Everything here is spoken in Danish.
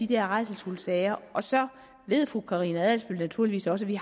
de her rædselsfulde sager og så ved fru karina adsbøl naturligvis også at vi